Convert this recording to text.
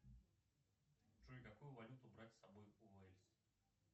джой какую валюту брать с собой в уэльс